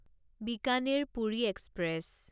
Bikaner Puri express